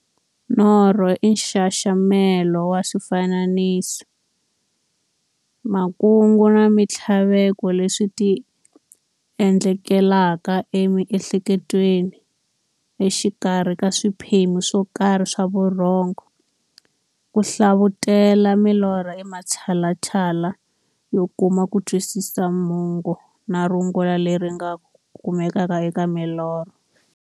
Norho i nxaxamelo wa swifaniso, makungu na minthlaveko leswi ti endlekelaka e mi'hleketweni exikarhi ka swiphemu swokarhi swa vurhongo. Ku hlavutela milorho i matshalatshala yo kuma kutwisisa mungo na rungula leri nga kumekaka eka milorho.